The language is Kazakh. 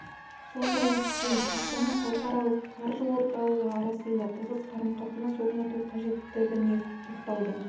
сондай-ақ пен астана халықаралық қаржы орталығы арасында тығыз қарым-қатынас орнату қажеттігіне тоқталды дубай әмірлігінің билеушісі